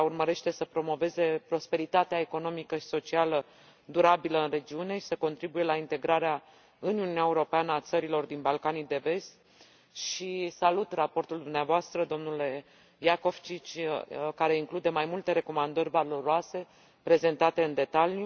Ea urmărește să promoveze prosperitatea economică și socială durabilă în regiune și să contribuie la integrarea în Uniunea Europeană a țărilor din Balcanii de Vest și salut raportul dumneavoastră, domnule Jakovčić, care include mai multe recomandări valoroase prezentate în detaliu.